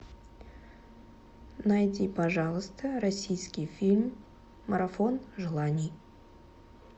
найди пожалуйста российский фильм марафон желаний